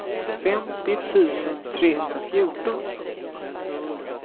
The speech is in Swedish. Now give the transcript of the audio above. femtio tusen trehundrafjorton